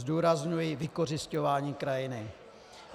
Zdůrazňuji vykořisťování krajiny.